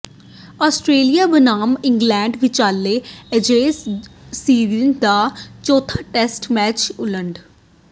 Australia ਬਨਾਮ England ਵਿਚਾਲੇ Ashes series ਦਾ ਚੌਥਾ ਟੈਸਟ ਮੈਚ ਓਲਡ